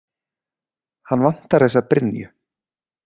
Hann vantar þessa brynju.